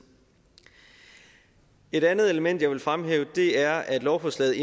et andet element jeg vil fremhæve er at lovforslaget